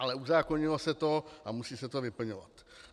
Ale uzákonilo se to a musí se to vyplňovat.